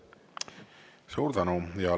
Suur tänu!